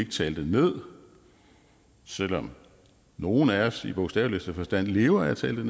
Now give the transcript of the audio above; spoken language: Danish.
tale det ned selv om nogle af os i bogstaveligste forstand lever af at tale det